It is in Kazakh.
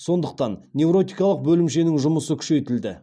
сондықтан невротикалық бөлімшенің жұмысы күшейтілді